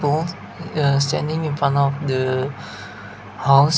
ah yaaa sending a one of the house.